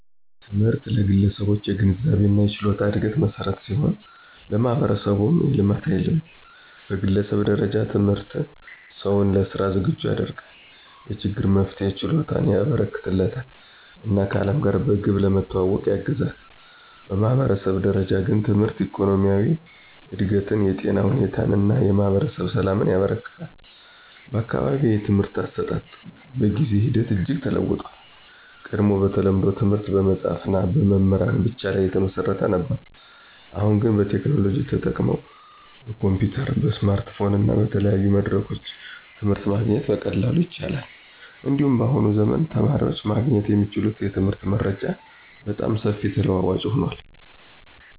ትምህርት ለግለሰቦች የግንዛቤና የችሎታ እድገት መሠረት ሲሆን፣ ለማህበረሰቡም የልማት ኃይል ነው። በግለሰብ ደረጃ ትምህርት ሰውን ለሥራ ዝግጁ ያደርጋል፣ የችግር መፍትሄ ችሎታን ያበረከትለታል እና ከዓለም ጋር በግብ ለመዋወቅ ያግዛል። በማህበረሰብ ደረጃ ግን ትምህርት የኢኮኖሚ እድገትን፣ የጤና ሁኔታን እና የማህበረሰብ ሰላምን ያበረክታል። በአካባቢዬ የትምህርት አሰጣጥ በጊዜ ሂደት እጅግ ተለውጦአል። ቀድሞ በተለምዶ ትምህርት በመጽሀፍትና በመምህራን ብቻ ላይ የተመሰረተ ነበር። አሁን ግን ቴክኖሎጂ ተጠቅመው በኮምፒዩተር፣ በስማርትፎን እና በተለያዩ መድረኮች ትምህርት ማግኘት በቀላሉ ይቻላል። እንዲሁም በአሁኑ ዘመን የተማሪዎች ማግኘት የሚችሉት የትምህርት መረጃ በጣም ሰፊና ተለዋዋጭ ሆኗል።